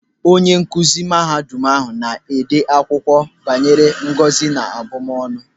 Onye nkụzi mahadum ahụ na-ede akwụkwọ banyere ngọzi na abụmọnụ.